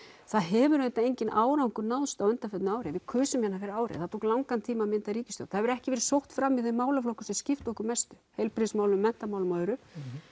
það hefur auðvitað enginn árangur náðst á undanförnu ári við kusum hérna fyrir ári og það tók langan tíma að mynda ríkisstjórn það hefur ekki verið sótt fram í þeim málaflokkum sem skipta okkur mestu heilbrigðismálum menntamálum og öðru